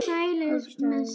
Sælir með sitt.